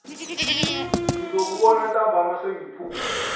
ngizokubona ntambama sengiphume